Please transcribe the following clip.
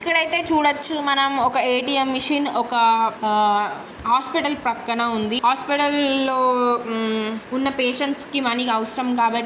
ఐతే చూడొచ్చు మనం ఒక ఏ_టీ_ఎం మిషన్ ఒక ఆ హాస్పిటల్ ప్రక్కన ఉందిహాస్పిటల్ లో ఉమ్మ్ ఉన్న పేషెంట్స్ కి మనీ అవసరం కాబట్టి --